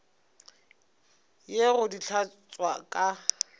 ye go di hlatswa ka